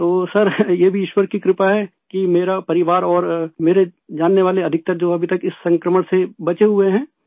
تو سر یہ بھی ایشور کی مہربانی ہے کہ میرا اور میرے جاننے والے زیادہ تر جو ابھی تک اس وباء سے بچے ہوئے ہیں